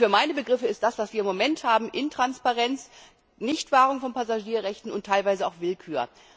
Für meine Begriffe ist das, was wir im Moment haben, Intransparenz, Nichtwahrung von Passagierrechten und teilweise auch Willkür.